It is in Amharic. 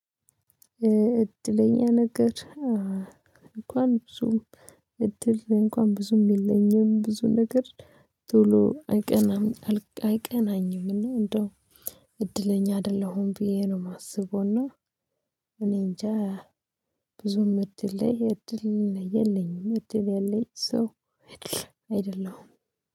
እድለኛ ነገር እንኳን ብዙም እድል እንኳን ብዙም የለኝም ብዙ ነገር ቶሎ አይቀናም አይቀናኝም። እንደው እድለኛ አይደለሁም ብዬ ነው የማስበውና እኔንጃ ብዙም እድል ላይ እድል የለኝም። እድል ያለኝ ሰው አይደል አይደለሁም።